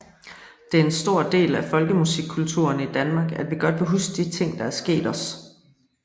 Det er en stor del af folkemusikkulturen i Danmark at vi godt vil huske de ting der er sket os